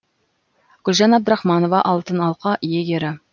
гүлжан абдрахманова алтын алқа иегері